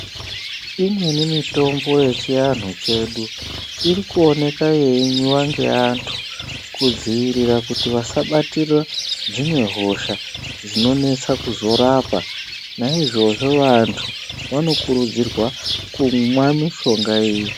Imweni mitombo yechianhu chedu iri kuoneka yeimwiwe ngeantu kudzivirira kuti vasabatira dzimwe hosha dzinonetsa kuzorapa naizvozvo vantu vanokurudzirwa kumwa mushonga iyi.